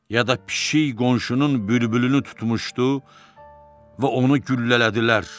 Ya da pişik qonşunun bülbülünü tutmuşdu və onu güllələdilər.